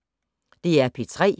DR P3